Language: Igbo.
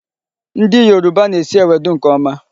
Ndị Yoruba na-esi ewedu nke ọma.